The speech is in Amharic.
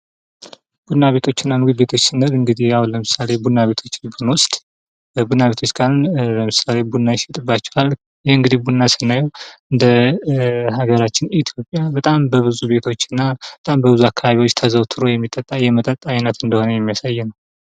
ቡና ቤቶች እና ምግብ ቤቶች ስንል እንግዲህ አሁን ለምሳሌ ቡና ቤቶችን ብንወስድ ቡና ቤቶች ካልን ለምሳሌ ቡና ይሸጥባቸዋል። ይህ እንግዲህ ቡና ስናየው በሀገራችን ኢትዮጵያ በጣም በብዙ ቤቶች እና በጣም በብዙ አካባቡዎች ተዘውትሮ የሚጠጣ የመጠጥ አይነት እንደሆነ የሚያሳይ ነው።